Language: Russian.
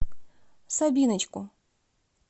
сабиночку